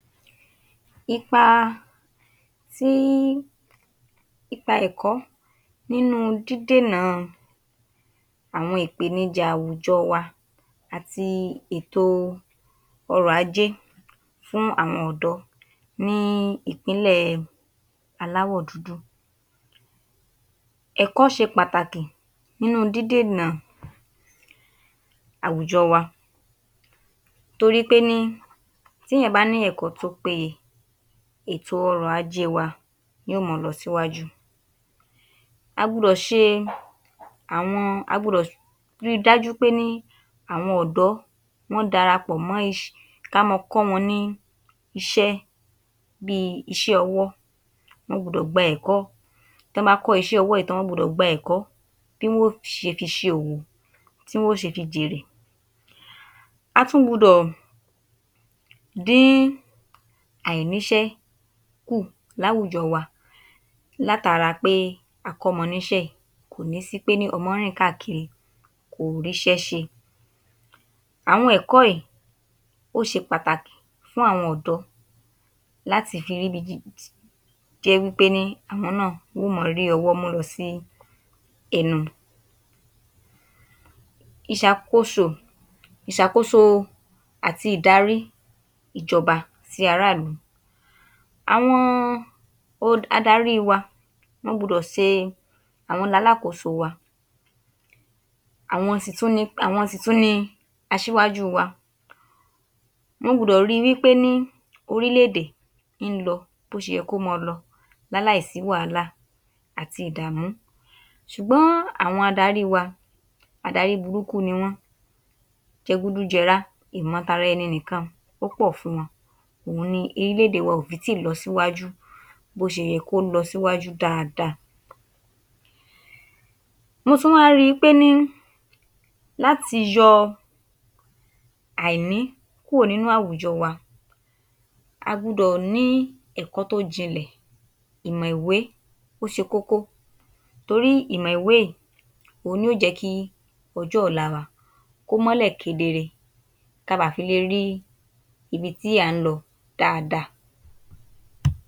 Ipa tí í, ipa ẹ̀kọ́ nínú ú dídènà àwọn ìpèníjà àwùjọ wá àti ètò ọrọ̀ ajé fún àwọn ọ̀dọ́ ní ìpínlẹ̀ aláwọ̀ – dúdú. Ẹ̀kọ́ ṣe pàtàkì nínú dídènà àwùjọ wá torí pé ní ti èèyàn bá ní ẹ̀kọ́ tó pé yẹ, ètò ọrọ̀ ajé wa yóò máa lọ síwájú, a gbudọ̀ ṣe àwọn, a gbudọ̀ ri dájú pé ní àwọn ọ̀dọ́, wọ́n dara pò mọ́ iṣ… ká máa kọ wọn ní iṣẹ́ bíi iṣẹ́ owó, wọn gbudọ̀ gba ẹ̀kọ́ tó ń bá kọ iṣẹ́ ọwọ́ yii tán, wọn gbudọ̀ gba ẹ̀kọ́ tí wọn yóò ò fi ṣòwò, tí wọn yóò ó fi jèrè. A tún gbudọ̀ dé àìníṣé kù láwùjọ wa lá tara pé a kọ́mo níṣẹ́ yìí, kò ní sí pé ọmọ ń rìn káàkiri, kò rí iṣẹ́ ṣe. Àwọn ẹ̀kọ́ yìí, ó ṣe pàtàkì fún àwọn ọ̀dọ́ láti fi ríbi gidi…. Tó jẹ́ wí pé àwọn náà yóò máa rí owó mú lọ sí ẹnu. Ìṣàkóso àti ìdarí ìjọba tí ará ìlú, àwọn adarí wá, wọn gbudọ̀ ṣe, àwọn lalákòóso wá, àwọn sì tún ní asíwájú wa, wọn gbudọ̀ rí wí pé ní orílẹ̀ èdè ń lọ bó ṣe yẹ kó máa lọ, láláì sí wàhálà àti ìdààmú ṣùgbọ́n àwọn adarí wá, adarí burúkú ni wọn, jẹ- gúdú-jẹrá, ìmọ̀tara-ẹni-nìkan ó pò fún wọn. Òhun ni orílẹ̀ èdè wa o fi ti lọ ṣíwájú bó ṣe yẹ kó lọ síwájú dáadáa. Mọ tún wà rí wípé láti yóò àìní kúrò nínú áwùjọ wá, a gbudọ̀ ni ẹ̀kọ́ tó ìjìnlẹ̀, ìmọ̀ ìwé ó ṣe kókó torí ìmọ̀ ìwé yìí, ohun ni yóò jẹ ki ọjọ́ ọ̀la wa ko mọ́lẹ̀ kedere. Ká bá fi lè rí ibi tí a ń lọ dáadáa.